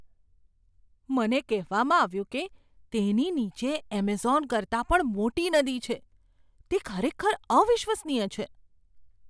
મને કહેવામાં આવ્યું છે કે તેની નીચે એમેઝોન કરતાં પણ મોટી નદી છે. તે ખરેખર અવિશ્વસનીય છે!